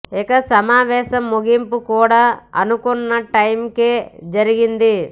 ఇక సమావేశం ముగింపు కూడా అనుకున్న టైం కే జరిగింది